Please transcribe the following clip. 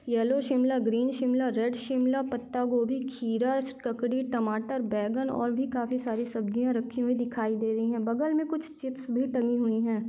Yellow Shimla green Shimla red Shimla पत्ता गोबी खीरा ककड़ी टमाटर बैंगन और भी काफी सारी सब्जीया रखी हुई दिखाई दे रही है बगल मे कुछ चिप्स भी टंगी हुई है।